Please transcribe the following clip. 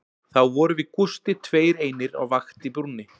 Þá vorum við Gústi tveir einir á vakt í brúnni